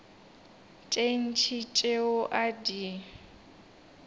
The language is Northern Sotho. tše ntši tšeo a di